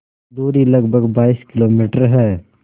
दूरी लगभग बाईस किलोमीटर है